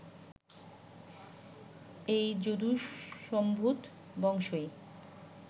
এই যদুসম্ভূত বংশই